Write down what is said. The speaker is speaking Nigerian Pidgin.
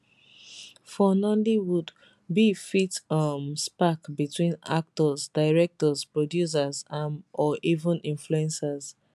for nollywood beef fit um spark between actors directors producers um or even influencers